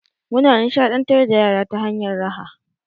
Muna nishaɗantar da yara ta hanyar raha.